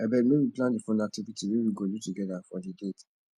abeg make we plan di fun activity wey we go do togeda for di date